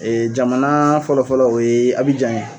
Ee jamana fɔlɔfɔlɔ o ye Abijan ye.